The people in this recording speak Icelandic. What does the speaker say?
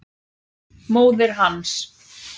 Móðir hans!